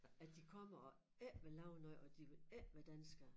At de kommer og ikke vil lave noget og de vil ikke være danskere